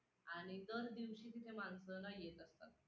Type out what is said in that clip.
आणि दर दिवशी तिथे माणसं ना येत असतात.